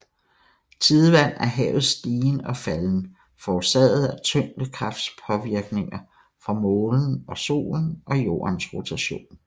Tidevand er havets stigen og falden forårsaget af tyngekraftspåvirkninger fra Månen og Solen og Jordens rotation